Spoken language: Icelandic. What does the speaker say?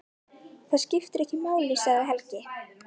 Það skiptir ekki máli, sagði Helgi.